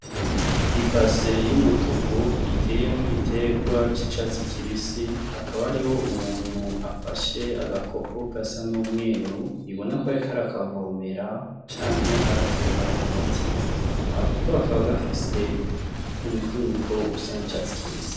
Ibase y'umutuku iteyemo igitegwa c'icatsi kibisi hakaba ariho umuntu afashe agakopo gasa n'umweru ibona ko arikari akavomera canke agatera umuti agakopo akaba gafise umufunyiko usa n'icatsi kibisi.